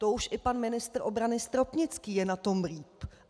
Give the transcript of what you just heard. To už i pan ministr obrany Stropnický je na tom líp.